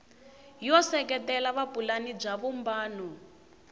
yo seketela vupulani bya vumbano